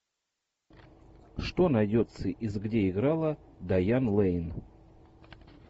что найдется из где играла дайан лэйн